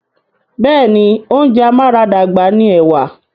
Bẹ́ẹ̀ni, oúnjẹ amáradàgbà ni ẹ̀wà.